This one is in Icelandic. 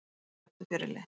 Ekki aftur fyrirliði